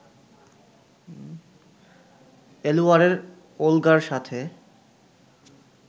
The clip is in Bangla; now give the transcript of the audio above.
এলুয়ারের ওলগার সাথে